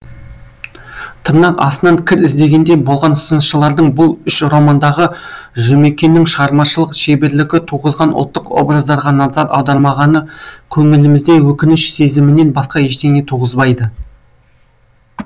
тырнақ астынан кір іздегендей болған сыншылардың бұл үш романдағы жұмекеннің шығармашылық шеберлігі туғызған ұлттық образдарға назар аудармағаны көңілімізде өкініш сезімінен басқа ештеңе туғызбайды